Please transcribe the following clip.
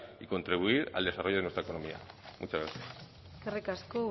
y contribuir al desarrollo de nuestra economía muchas gracias eskerrik asko